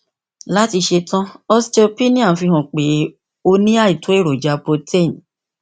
láti ṣe tán osteopenia ń fi hàn pé o ní àìtó èròjà protein